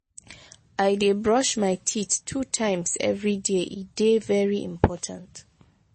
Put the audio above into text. i dey brush my teeth two times everyday e dey very important.